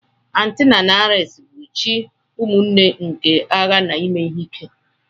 Athena na Ares bụ chi ụmụnne nke agha na ime ihe ike.